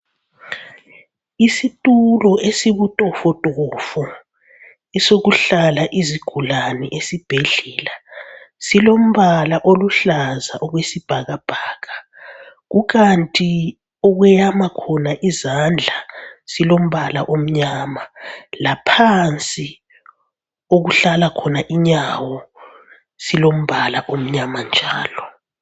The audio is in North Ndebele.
Isitulo esibutofotofo esokuhlala izigulane esibhedlela silombala oluhlaza okwesibhakabhaka, kukhanti okuyama khona izandla silombala omnyama laphansi okuhlala khona inyawo silombala omnyama njalo.